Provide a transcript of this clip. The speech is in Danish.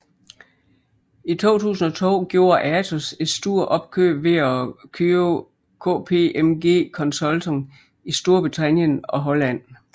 I 2002 gjorde Atos et stort opkøb ved at købe KPMG Consulting i Storbritannien og Holland